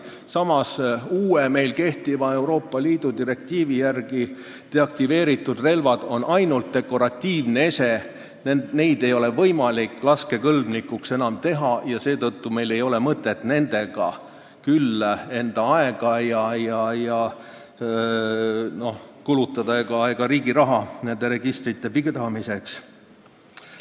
Samas on uue, meil kehtiva Euroopa Liidu direktiivi järgi deaktiveeritud relv ainult dekoratiivne ese, seda ei ole võimalik enam laskekõlblikuks teha, seetõttu ei ole mõtet kulutada enda aega ega riigi raha nende registrite pidamisele.